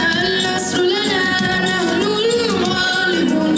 Nəhlul-qəlb, Məşhur, Məşhur.